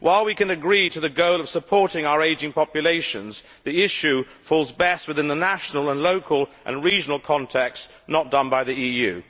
While we can agree to the goal of supporting our ageing populations, the issue falls best within the national, local and regional context, not done by the EU.